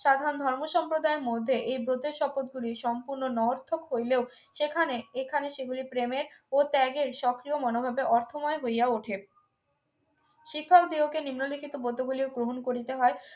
সাধারণ ধর্ম সম্প্রদায়ের মধ্যে এই ব্রতের শপথ গুলি সম্পূর্ণ নঙ্গর্থক হইলেও সেখানে এখানে সেগুলি প্রেমের ও ত্যাগের সক্রিয় মনোভাবের অর্থময় হইয়া ওঠে শিক্ষক দিগকে নিম্নলিখিত পদ্য গুলিও গ্রহণ করিতে হয়